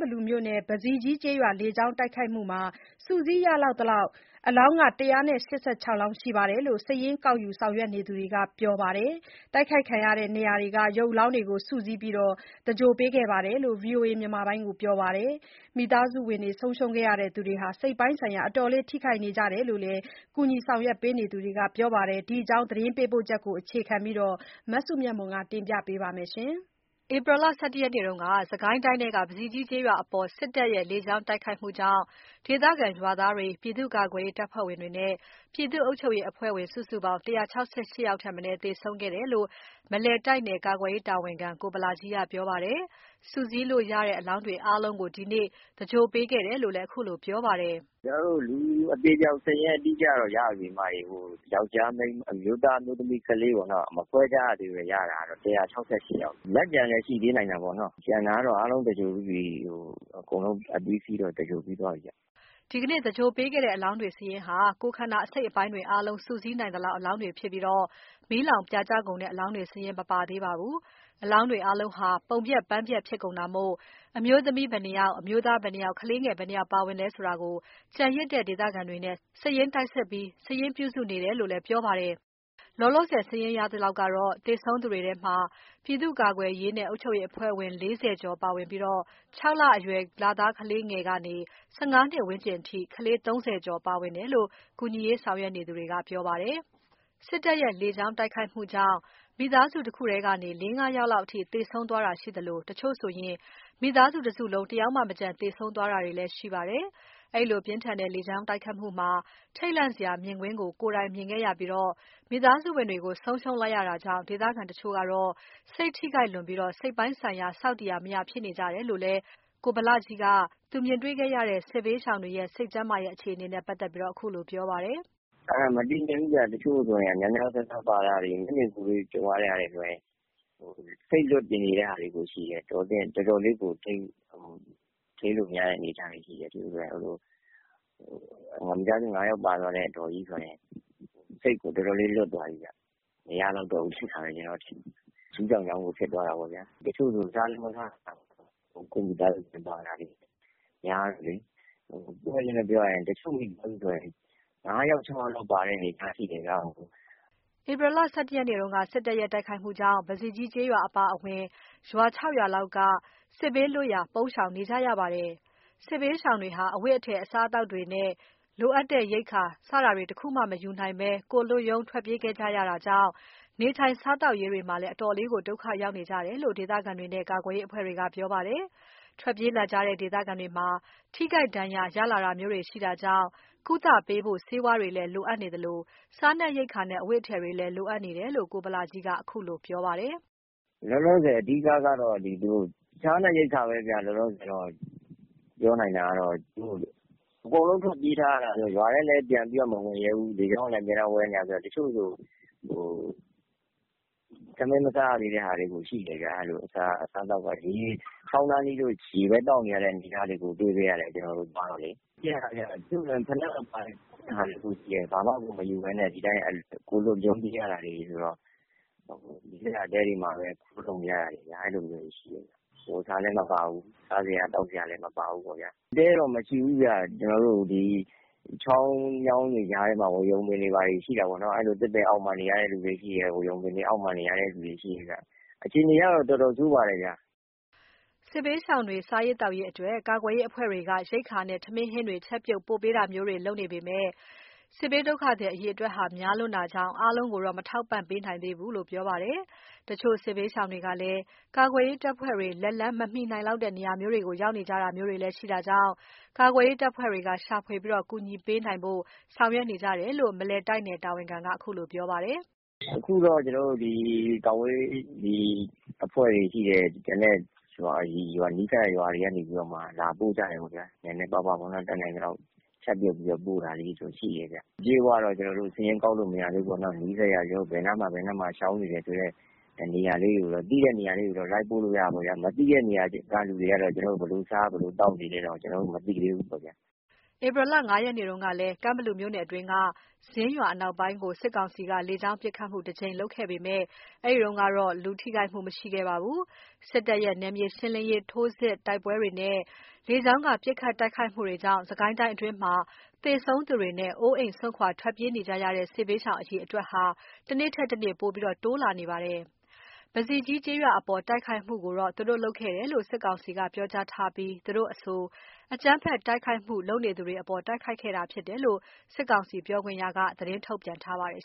ဘလူမြို့နယ်၊ ပဇီကြီးကျေးရွာ လေကြောင်းတိုက်ခိုက်ခံရမှုမှာ စုစည်းလို့ရသလောက် အလောင်း ၁၆၈ ယောက် ရှိတယ်လို့ စာရင်းကောက်ယူဆောင်ရွက်နေသူတွေက ပြောပါတယ်။ တိုက်ခိုက်ခံရတဲ့နေရာက အလောင်းတွေ အားလုံးကို စုစည်းပြီး သဂြိုဟ်ပေးခဲ့တယ်လို့ VOA ကိုပြောပါတယ်။ မိသားစုဝင်တွေ ဆုံးရှုံးခဲ့ရသူတွေဟာ စိတ်ပိုင်းဆိုင်ရာ အတော်လေးထိခိုက်နေကြတယ်လို့ ကူညီဆောင်ရွက်ပေးနေကြသူတွေက ပြောပါတယ်။ ဒီအကြောင်း သတင်းပေးပို့ချက်ကို အခြေခံပြီး မစုမြတ်မွန်က တင်ပြပါမယ်။ ဧပြီလ ၁၁ ရက်နေ့က စစ်ကိုင်းတိုင်းထဲက ပဇီကြီးကျေးရွာအပေါ် စစ်တပ်ရဲ့ လေကြောင်းတိုက်ခိုက်မှုကြောင့် ဒေသခံရွာသားတွေ၊ ပြည်သူ့ကာကွယ်ရေး တပ်ဖွဲ့ဝင်တွေ၊ ပြည်သူ့အုပ်ချုပ်ရေး အဖွဲ့ဝင် စုစုပေါင်း ၁၆၈ ယောက် သေဆုံးခဲ့တယ်လို့ မလယ်တိုက်နယ် ကာကွယ်ရေးတာဝန်ခံ ကိုဗလကြီးက ပြောပါတယ်။ စုစည်းလို့ရတဲ့ အလောင်းတွေအားလုံးကို ဒီနေ့ သဂြိုလ်ပေးခဲ့တယ်လို့လည်း အခုလိုပြောပါတယ်။ “ကျွန်တော်တို့ လူအသေအပျောက် စာရင်းတော့ အတိအကျ ရပြီဗျ။ အမျိုးသား အမျိုးသမီး မခွဲရသေးဘဲ ရတာကတော့ ၁၆၈ ယောက်ဗျ။ လက်ကျန်လည်း ရှိသေးနိုင်တာပေါ့နော်။ ကျန်တာကတော့ အားလုံး သဂြိုဟ်ပြီးပြီ။ အကုန်လုံး အပြီးအစီးကတော့ သဂြိုဟ်ပြီးသွားပြီဗျ။” ဒီနေ့သဂြိုလ်ပေးခဲ့တဲ့အလောင်းတွေဟာ ကိုယ်ခန္ဓာအစိတ်အပိုင်းတွေ စုစည်းနိုင်သလောက်အလောင်းတွေဖြစ်ပြီး မီးလောင်ပြာကျကုန်တဲ့ အလောင်တွေ စာရင်းမပါသေးပါဘူး။ အလောင်းတွေအားလုံးဟာ ပုံပျက် ပန်းပျက်ဖြစ်ကုန်တာမို့ အမျိုးသမီး ဘယ်နှယောက် အမျိုးသား ဘယ်နှယောက် ကလေးငယ်ဘယ်နှယောက်လဲဆိုတာ ကျန်ရစ်တဲ့ ဒေသခံတွေနဲ့ စာရင်းတိုက်စစ်ပြီး စာရင်းပြုစုနေတယ်လို့လည်း ပြောပါတယ်။ လောလောဆယ် စာရင်းရသလောက် သေဆုံးခဲ့သူတွေထဲမှာ ပြည့်သူ့ကာကွယ်ရေးနဲ့ အုပ်ချုပ်ရေးအဖွဲ့ဝင် ၄၀ ကျော်ပါဝင်ပြီး အသက် ၆ လအရွယ် လသားကလေးငယ်ကနေ ၁၅ အရွယ်ဝန်းကျင်အထိ ကလေး ၃၀ ကျော် ပါတယ်လို့ ကူညီရေးဆောင်ရွက်နေသူတွေက ပြောပါတယ်။ စစ်တပ်ရဲ့ လေကြောင်းတိုက်ခိုက်မှုကြောင့် မိသားစုတခုတည်းကနေ ၄၊ ၅၊ ၆ ယောက်လောက်အထိ သေဆုံးသွားတာရှိသလို၊ တချို့ဆိုရင် မိသားစု တစုလုံး တစ်ယောက်မကျန် သေဆုံးသွားတာလည်း ရှိပါတယ်။ ဒီလို ပြင်းထန်တဲ့ လေကြောင်းတိုက်ခိုက်မှုမှာ ထိတ်လန့်စရာ မြင်ကွင်းကို ကိုယ်တိုင်မြင်ခဲ့ရပြီး မိသားစုဝင်တွေကို ဆုံးရှုံးလိုက်ရတာကြောင့် ဒေသခံတချို့ဟာ စိတ်ထိခိုက်လွန်ပြီး စိတ်ပိုင်းဆိုင်ရာ ဆောက်တည်ရာ မရဖြစ်နေကြတယ်လို့လည်း ကိုဗလကြီးက သူမြင်တွေ့ရတဲ့ စစ်ရှောင်တွေရဲ့ စိတ်ကျန်းမာရေး အခြေအနေနဲ့ ပတ်သက်ပြီး ခုလိုပြောပါတယ်။ “မတည်ငြိမ်ဘူးဗျ၊ တချို့ဆိုရင် များများစားစား ပါသွားတာတွေ၊ မျက်မြင်ကိုယ်တွေ့ ကြုံရတဲ့လူတွေဆိုရင် စိတ်လွတ်ပြီး နေတာတွေကို ရှိတယ်။ တော်တော်လေးကို ထိန်းလို့မရတဲ့ အနေအထားတွေရှိတယ်။ မိသားစု ၅ ယောက်ပါသွားတဲ့ အဒေါ်ကြီးဆိုရင် စိတ်က တော်တော်လေး လွတ်သွားတာဗျ။ မရလောက်တော့ဘူး ထင်တယ် ကျွန်တော်ကတော့။ ရူးကြောင်ကြောင်ကို ဖြစ်သွားတာပေါ့ဗျာ။ တချို့ဆို စားလည်း မစားနိုင်ကြတော့ဘူး၊ ကိုယ်မိသားစုတွေ ပါသွားတာ များတော့လေ။ ပွင့်ပွင့်လင်းလင်းပြောရရင် တချို့မိသားစုတွေဆိုရင် ၅ ယောက်၊ ၆ ယောက်ကို ပါသွားတာဗျ။” ဧပြီ ၁၁ ရက်က စစ်တပ်ရဲ့ တိုက်ခိုက်မှုကြောင့် ပဇီကြီးကျေးရွာအပါအဝင် ရွာ ၆ရွာလောက် စစ်ဘေးလွတ်ရာ ပုန်းရှောင်နေကြရပါတယ်။ စစ်ဘေးရှောင်တွေဟာ အဝတ်အထည်၊ စားသောက်ရေးအတွက် လိုအပ်တဲ့ရိက္ခာ စတာတွေ တခုမှ မယူနိုင်ဘဲ အလွတ်ထွက်ပြေးခဲ့ရတာကြောင့် နေထိုင်ရေး စားသောက်ရေးတွေမှာ အတော့်ကို ဒုက္ခရောက်နေကြရတယ်လို့ ဒေသခံတွေနဲ့ ကာကွယ်ရေး အဖွဲ့ဝင်တွေက ပြောပါတယ်။ ထွက်ပြေးလာကြတဲ့ ဒေသခံတွေမှာ ထိခိုက် ဒဏ်ရာ ရလာတာမျိုးတွေလည်း ရှိတာကြောင့် ကုသဖို့ ဆေးဝါးတွေလည်း လိုအပ်နေသလို စားနပ်ရိက္ခာနဲ့ အဝတ်အထည်တွေလည်း လိုအပ်နေတယ်လို့ ကိုဗလကြီးက ခုလိုပြောပါတယ်။ “လောလောဆယ် အဓိက လိုတာကတော့ စားနပ်ရိက္ခာပဲဗျ။ အကုန်လုံးထွက်ပြေးထားရတော့ ဘယ်သူမှလည်း ရွာထဲကို ပြန်မဝင်နိုင်သေးဘူး။ လေယာဉ်ကလဲ အမြဲတမ်း ဝဲနေတာဆိုတော့ တချို့ဆို ထမင်း မစားရသေးတဲ့သူတွေကို ရှိတယ်ဗျ။ အစားအသောက်ကမရှိတော့ ချောင်းနားနီးရင် ရေဘဲသောက်နေကြရတဲ့ အဖြစ်မျိုးတွေကို တွေ့ခဲ့ရတယ် ကျွန်တော်တို့ သွားတော့လေ။ ပြေးလာကြရတာ တချို့ဆို ဖိနပ်မပါဘူး။ ဘာမှကို မယူနိုင်ဘဲနဲ့ ဒီအတိုင်း ကိုယ်လွတ်ရုန်း ပြေးရတာတွေဆိုတော့ ဒီတိုင်း ကြုံရာမှာပဲ နေနေကြရတာတွေရှိတယ်။ အဝတ်အစားလဲမပါဘူး၊ စားစရာ၊ သောက်စရာလဲ မပါဘူးပေါ့ဗျာ။ တဲတော့ မရှိဘူးဗျ၊ ဒီတိုင်း ချောင်းမြောင်းတွေ ကြားထဲမှာပဲ ဝါးရုံပင်တွေ ဘာတွေ ရှိတာပေါ့နော်၊ သစ်ပင်တွေ အောက်တွေမှာပဲ ဝါးရုံပင် အောက်တွေမှာပဲ နေရတဲ့သူတွေ ရှိတယ်ဗျ။ အခြေအနေကတော့ အတော့်ကို ဆိုးပါတယ်ဗျာ။” စစ်ဘေးရှောင်တွေ စားသောက်ရေးအတွက် ကာကွယ်ရေး အဖွဲ့တွေက ရိက္ခာနဲ့ ထမင်း၊ ဟင်းတွေ ချက်ပြုတ်ပို့ပေးတာမျိုးတွေ လုပ်နေပေမယ့် စစ်ဘေးရှောင်အရေအတွက် များလွန်းတာကြောင့် အားလုံးကိုတော့ မထောက်ပံ့နိုင်သေးဘူးလို့ ပြောပါတယ်။ တချို့ စစ်ဘေးရှောင်တွေကလည်း ကာကွယ်ရေး တပ်ဖွဲ့တွေ လက်လှမ်းမမီနိုင်တဲ့ နေရာမျိုးတွေကို ရောက်နေကြတာမျိုးတွေလည်း ရှိနိုင်တာကြောင့် ကာကွယ်ရေး တပ်ဖွဲ့တွေက ရှာဖွေပြီး ကူညီပေးနိုင်ဖို့လည်း ဆောင်ရွက်နေကြတယ်လို့ မလယ်တိုက်နယ် တာဝန်ခံက ခုလိုပြောပါတယ်။ “အခုတော့ ကျွန်တော်တို့ ဒီကာကွယ်ရေး အဖွဲ့တွေက ဒီနဲ့ နီးစပ်ရာ ရွာတွေကနေပြီးတော့မှ လာပို့ကြတယ်ပေါ့ဗျာ။ နည်းနည်းပါးပါးပေါ့ဗျာ၊ တတ်နိုင်သလောက်ပေါ့။ ချက်ပြုတ်ပြီးတော့ ပို့တာတွေလည်း ရှိတာပေါ့။ (စစ်ရှောင်အရေအတွက်) ကျွန်တော်တို့က အပြည့်အဝတော့ စာရင်းကောက်လို့ မရသေးဘူးပေါ့ဗျာ။ ဘယ်နားမှာ၊ ဘယ်နားမှာ ရှောင်နေတယ်ဆိုတဲ့ နေရာလေးတွေကိုတော့ သိတဲ့ နေရာလေးတွေဆိုရင်တော့ လိုက်ပို့လို့ ရတာပေါ့ဗျာ။ မသိတဲ့နေရာက လူတွေကတော့ ဘယ်လို စားသောက်နေကြရမလဲ ကျွန်တော်တို့လည်း မသိသေးဘူးဗျ။” ဧပြီလ ၅ ရက်နေ့ကလည်း ကန့်ဘလူမြို့နယ်အတွင်းက ဇင်းရွာ အနောက်ပိုင်းကို စစ်ကောင်စီက လေကြောင်းပစ်ခတ်မှု တစ်ကြိမ် ပြုလုပ်ခဲ့ဖူးပေမယ့် လူထိခိုက်မှုတော့ မရှိခဲ့ပါဘူး။ စစ်တပ်ရဲ့ နယ်မြေရှင်းလင်းရေး ထိုးစစ်၊ တိုက်ပွဲတွေနဲ့ လေကြောင်းက ပစ်ခတ်တိုကခိုက်မှုတွေကြောင့် စစ်ကိုင်းအတွင်းမှာ သေဆုံးသူတွေနဲ့ အိုးအိမ် စွန့်ခွာ ထွက်ပြေးနေကြရတဲ့ စစ်ရှောင် အရေအတွက်ဟာ တနေ့ထက်တနေ့ ပိုပြီး တိုးလာနေပါတယ်။ ပဇီကြီးကျေးရွာအပေါ် တိုက်ခိုက်မှုကို လုပ်ခဲ့တယ်လို့ စစ်ကောင်စီက ပြောကြားထားပြီး သူတို့အဆို အကြမ်းဖက်တိုက်ခိုက်မှုလုပ်နေသူတွေအပေါ် တိုက်ခိုက်ခဲ့တာဖြစ်တယ်လို့ စစ်ကောင်စီပြောခွင့်ရ သတင်းထုတ်ပြန်ထားပါတယ်